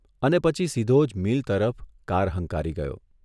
અને પછી સીધો જ મીલ તરફ કાર હંકારી ગયો.